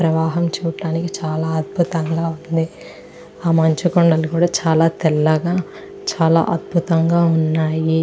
ప్రవాహం చూడటానికి చాలా అద్భుతంగా ఉంది ఆ మంచు కొండలు కూడా చాలా అద్భుతంగా చాలా తెల్లగా ఉన్నాయి.